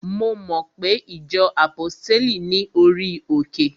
Mo mo pe ìjọ àpọ́stéli ní orí òkè?